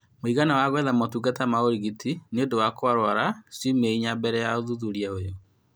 Mũigana wa gwetha motungata ma ũrigiti nĩũndũ wa kũrwara ciumia inya mbele ya ũthuthuria ũyũ